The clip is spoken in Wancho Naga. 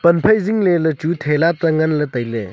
pan phai zingley ley chu theka tengan ley tailey.